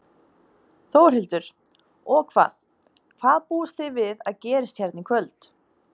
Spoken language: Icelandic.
Þórhildur: Og hvað, hvað búist þið við að gerist hérna í kvöld?